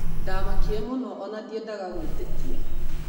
Ndamakire mũno ona ndiendaga gwĩtĩkia